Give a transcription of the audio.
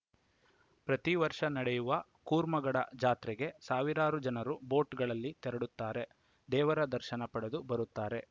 ಪ್ರತಿ ವರ್ಷ ನಡೆಯುವ ಕೂರ್ಮಗಡ ಜಾತ್ರೆಗೆ ಸಾವಿರಾರು ಜನರು ಬೋಟ್‌ಗಳಲ್ಲಿ ತೆರಳುತ್ತಾರೆ ದೇವರ ದರ್ಶನ ಪಡೆದು ಬರುತ್ತಾರೆ